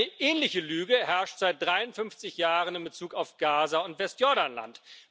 Eine ähnliche Lüge herrscht seit 53 Jahren in Bezug auf Gaza und Westjordanland.